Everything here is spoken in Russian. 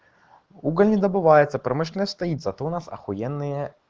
уголь не добывается промышленность стоит зато у нас ахуенные